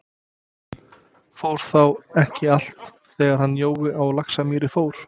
Fór þá ekki allt, þegar hann Jói á Laxamýri fór?